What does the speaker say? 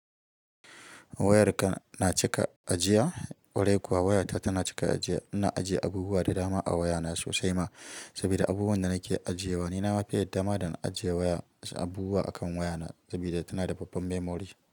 Wayarka na cika ajiya? Kwarai kuwa wayata tana cika ajiya. Ina ajiye abubuwa da dama a wayana sosai ma, saboda abubuwanda nake ajiyewa. Nina mafi yadda ma da na ajiye waya abubuwa akan wayana sabida tanada babban memory.